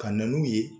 Ka na n'u ye